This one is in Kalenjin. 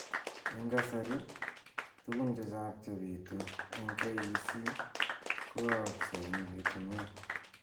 Eng kasari, tugun chechak chebitu eng KEC ko aaksei eng bitunwek